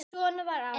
Svona var afi.